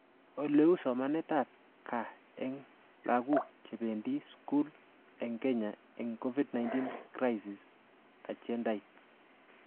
Oleu somanetab gaa eng laguk chebendie skul eng Kenya eng Covid-19 Crisis, agendait